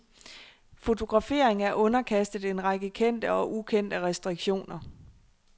Fotografering er underkastet en række kendte og ukendte restriktioner.